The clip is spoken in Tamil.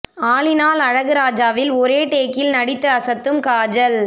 ஆல் இன் ஆல் அழகுராஜாவில் ஒரே டேக்கில் நடித்து அசத்தும் காஜல்